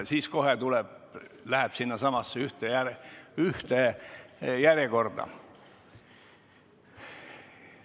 Ja siis kohe läheb sinu soov sinnasamasse ühte järjekorda.